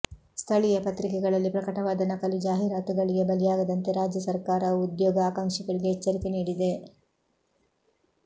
ಸ್ಥಳೀಯ ಪತ್ರಿಕೆಗಳಲ್ಲಿ ಪ್ರಕಟವಾದ ನಕಲಿ ಜಾಹೀರಾತುಗಳಿಗೆ ಬಲಿಯಾಗದಂತೆ ರಾಜ್ಯ ಸರ್ಕಾರವು ಉದ್ಯೋಗ ಆಕಾಂಕ್ಷಿಗಳಿಗೆ ಎಚ್ಚರಿಕೆ ನೀಡಿದೆ